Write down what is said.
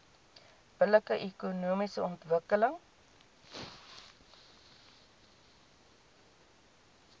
billike ekonomiese ontwikkeling